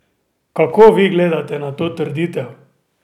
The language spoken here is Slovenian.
Kako vi gledate na to trditev?